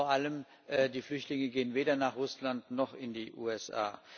Vor allem die Flüchtlinge gehen weder nach Russland noch in die USA.